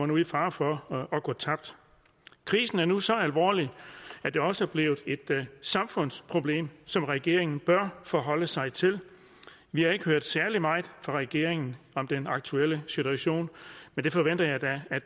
nu i fare for at gå tabt krisen er nu så alvorlig at det også er blevet et samfundsproblem som regeringen bør forholde sig til vi har ikke hørt særlig meget fra regeringen om den aktuelle situation men det forventer jeg da at